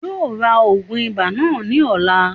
Yóò ra ògùn ibà náà ní ọ̀la